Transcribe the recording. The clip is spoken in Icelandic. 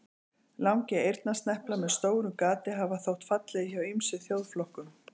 Langir eyrnasneplar með stóru gati hafa þótt fallegir hjá ýmsum þjóðflokkum.